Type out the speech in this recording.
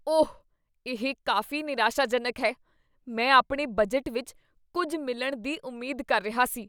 ਓਹ, ਇਹ ਕਾਫ਼ੀ ਨਿਰਾਸ਼ਾਜਨਕ ਹੈ। ਮੈਂ ਆਪਣੇ ਬਜਟ ਵਿੱਚ ਕੁੱਝ ਮਿਲਣ ਦੀ ਉਮੀਦ ਕਰ ਰਿਹਾ ਸੀ।